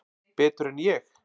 Betur en ég?